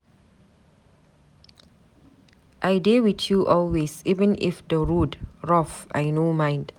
I dey with you always, even if the road rough I no mind